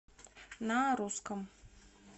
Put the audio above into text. на русском